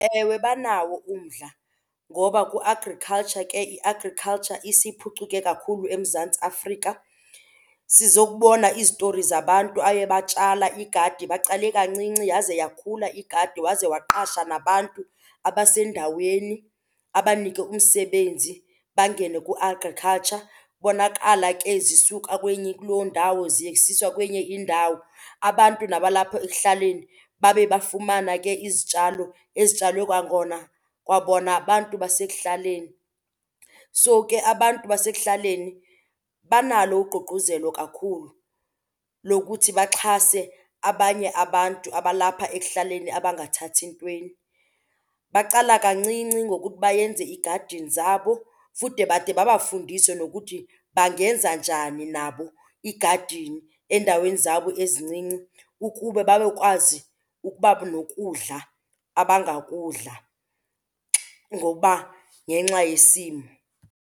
Ewe, banawo umdla ngoba kwi-agriculture ke i-agriculture isiphucuke kakhulu eMzantsi Afrika. Sizokubona izitori zabantu aye batshala igadi, baqale kancinci yaze yakhula igadi waze waqasha nabantu abasendaweni abanike umsebenzi bangene ku-agriculture. Bonakala ke zisuka kuloo ndawo zisiswa kwenye indawo. Abantu nabalapho ekuhlaleni babe bafumana ke izitshalo ezitshalwe kwangona, kwakona abantu basekuhlaleni. So ke abantu basekuhlaleni banalo ugqugquzelo kakhulu lokuthi baxhase abanye abantu abalapha ekuhlaleni abangathathi ntweni. Baqala kuba kancinci ngokuthi bayenze iigadini zabo futhi de bade babafundise nokuthi bangenza njani nabo igadini endaweni zabo ezincinci ukuba banokwazi ukuba nokudla abangakudla ngokuba ngenxa yesimo.